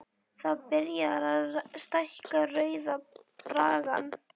Það er byrjað á því að stækka Rauða braggann.